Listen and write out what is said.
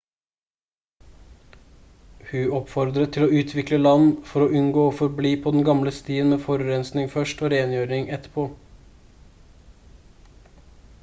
hu oppfordret til å utvikle land «for å unngå å forbli på den gamle stien med forurensning først og rengjøring etterpå»